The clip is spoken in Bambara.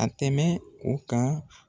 A tɛmɛ o kan